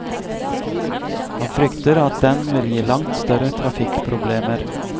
Han frykter at den vil gi langt større trafikkproblemer.